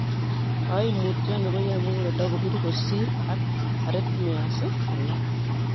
Koimutioni koyoe muguleldo kobir kosir ak arrhythmias alak.